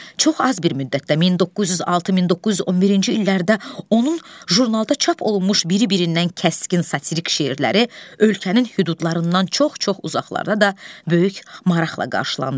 Çox az bir müddətdə 1906-1911-ci illərdə onun jurnalda çap olunmuş biri-birindən kəskin satirik şeirləri ölkənin hüdudlarından çox-çox uzaqlarda da böyük maraqla qarşılandı.